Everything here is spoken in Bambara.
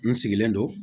N sigilen don